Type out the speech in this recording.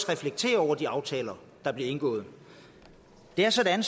reflektere over de aftaler der bliver indgået det er sådan